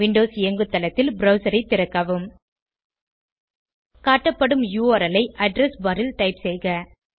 Windows இயங்குதளத்தில் browser ஐ திறக்கவும் காட்டப்படும் யுஆர்எல் ஐ அட்ரெஸ் பார் ல் டைப் செய்க